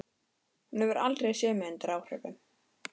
Hún hefur aldrei séð mig undir áhrifum.